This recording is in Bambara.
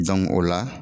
o la